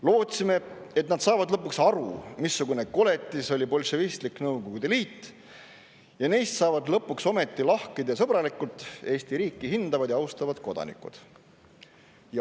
Lootsime, et nad saavad lõpuks aru, missugune koletis oli bolševistlik Nõukogude Liit, ja neist saavad lõpuks ometi lahked ja sõbralikud, Eesti riiki hindavad ja austavad kodanikud.